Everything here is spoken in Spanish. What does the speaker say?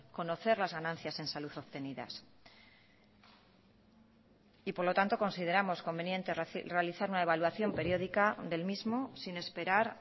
conocer las ganancias en salud obtenidas y por lo tanto consideramos conveniente realizar una evaluación periódica del mismo sin esperar